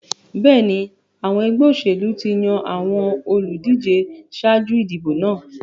Bẹ́ẹ̀ni, àwọn ẹgbẹ́ òṣèlú ti yan àwọn olùdíje ṣáájú ìdìbò náà.